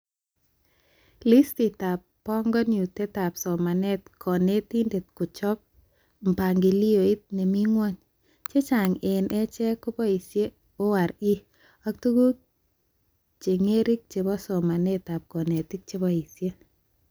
Listitab banganutetab somanetab konetindet kochob mpangilioit nemi ngwony, chechang eng achee keboishee ORE ak tuguk chengerik chebo somanetab konetik cheboishee